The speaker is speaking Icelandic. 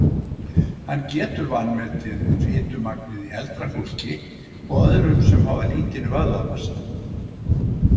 Hann getur vanmetið fitumagnið í eldra fólki og öðrum sem hafa lítinn vöðvamassa.